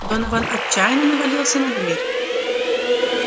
донован отчаянно навалился на дверь